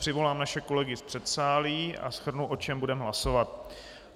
Přivolám naše kolegy z předsálí a shrnu, o čem budeme hlasovat.